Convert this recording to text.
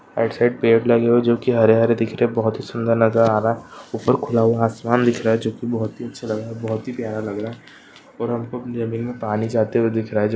right side पेड़ लगे हुए है जो की हरे हरे दिख रहे है बहुत ही सुंदर नजर आ रहे है ऊपर खुला हुआ आसमान दिख रहा है जो की बहुत ही अच्छा लगा रहा है बहुत ही प्यारा लगा रहा है और हमको जमीं में पानी जाते हुए दिख रहा है जो--